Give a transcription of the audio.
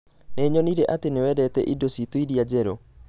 Nĩ nyonire atĩ nĩ wendete indo citũ iria njerũ